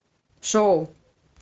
шоу